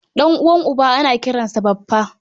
Ɗan'uwan uba ana kiransa Baffa